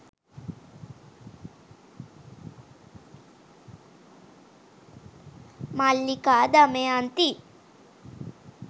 mallika damayanthi